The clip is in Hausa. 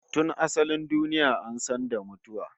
Tun asalin duniya an san da mutuwa